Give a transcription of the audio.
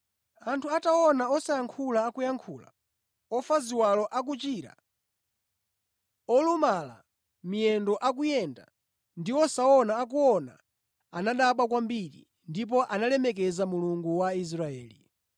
Anthu ataona osayankhula akuyankhula, ofa ziwalo akuchira, olumala miyendo akuyenda ndi osaona akuona anadabwa kwambiri. Ndipo analemekeza Mulungu wa Israeli.